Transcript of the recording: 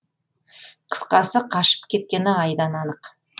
қысқасы қашып кеткені айдан анық